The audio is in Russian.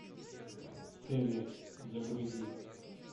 цезарь загрузи